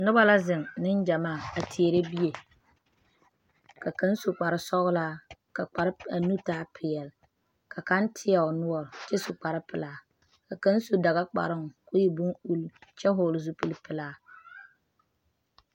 Noba la zeŋ, Nengyamaa a teɛre bie, ka kaŋa su kpare sɔglaa kaa nu taa pɛɛle , ka kaŋa teɛ o noɔre kyɛ su kpare pɛlaa ka kaŋa su daga kparoo kɔɔ e bon ulluu kyɛ vɔgeli zupili pɛlaa.